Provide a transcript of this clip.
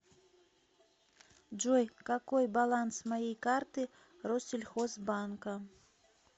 джой какой баланс моей карты россельхозбанка